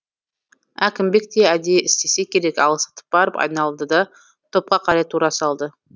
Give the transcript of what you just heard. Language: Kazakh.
әкімбек те әдейі істесе керек алыстап барып айналды да топқа қарай тура салды